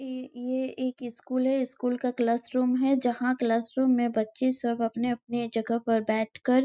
ये एक स्कूल है स्कूल का क्लास रूम है जहा क्लास रूम में बच्चे सब अपने अपने जगह पर बैठकर--